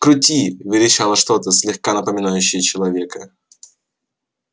крути верещало что-то слегка напоминающее человека